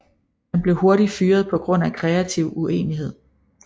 Han blev hurtigt fyrret på grund af kreativ uenighed